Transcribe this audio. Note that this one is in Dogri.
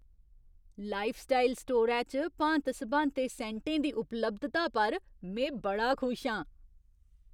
लाइफस्टाइल स्टोरै च भांत सभांते सैंटें दी उपलब्धता पर में बड़ा खुश आं।